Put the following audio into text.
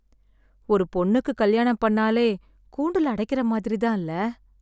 ஒரு பொண்ணுக்கு கல்யாணம் பண்ணாலே கூண்டுல அடைக்கிற மாரி தான் இல